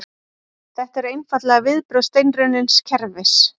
Þetta eru einfaldlega viðbrögð steinrunnins kerfis